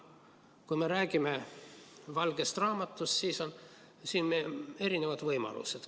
Kui me räägime valgest raamatust, siis siin on erinevad võimalused.